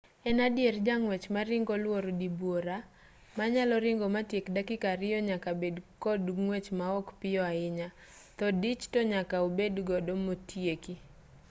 en adier jang'wech maringo luoro dibuora manyalo ringo matiek dakika ariyo nyaka bed kos ng'wech maok piyo ahinya tho dich tonyaka obedgodo motieki